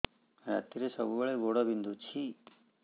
ରାତିରେ ସବୁବେଳେ ଗୋଡ ବିନ୍ଧୁଛି